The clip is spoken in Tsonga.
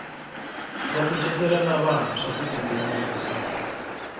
va kucetela lavantshwa ku tinghenisa